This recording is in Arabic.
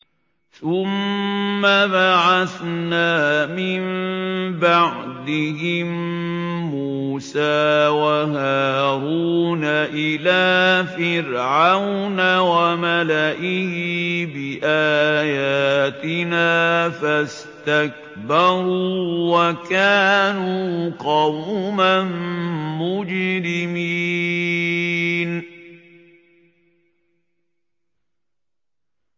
ثُمَّ بَعَثْنَا مِن بَعْدِهِم مُّوسَىٰ وَهَارُونَ إِلَىٰ فِرْعَوْنَ وَمَلَئِهِ بِآيَاتِنَا فَاسْتَكْبَرُوا وَكَانُوا قَوْمًا مُّجْرِمِينَ